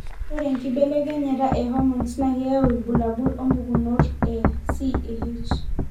ore enkibelekenyata e hormones na keyau ilbulabul opukunoto e CAH.